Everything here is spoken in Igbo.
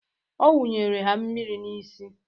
Ọ wunyere ha mmiri n'isi.